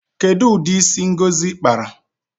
Kedu udi isi ngozi kpara?